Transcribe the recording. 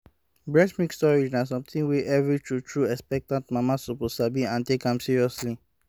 breast milk storage na something wey every true-true expectant mama suppose sabi and take am seriously